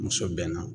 Muso bɛnna